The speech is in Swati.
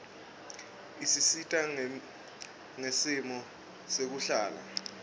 isisita ngesimo sekuhlala